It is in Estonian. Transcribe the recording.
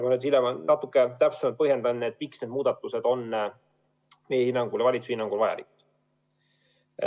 Ma hiljem natuke täpsemalt põhjendan, miks need muudatused on valitsuse hinnangul vajalikud.